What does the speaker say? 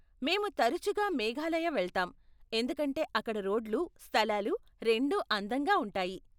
మేము తరచుగా మేఘాలయ వెళ్తాం, ఎందుకంటే అక్కడ రోడ్లు, స్థలాలు రెండూ అందంగా ఉంటాయి.